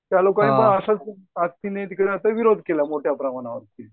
त्या लोकांनी पण असेच ने तिकडे विरोध केला मोठ्याप्रमाणावर.